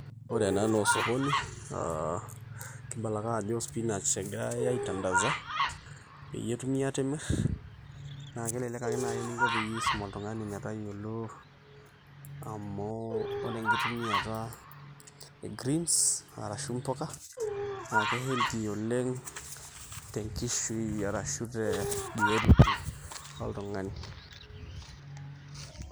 Ore ena naa osokoni, aa kibala ake ajo spinach egirai aitandasa, peyie etumi atimir. Na kelelek ake nai eninko peyie isum oltung'ani metayiolo amu ore enkitumiata e greens ,ashu mpuka, na ke healthy oleng' tenkishui arashu tebiotisho oltung'ani.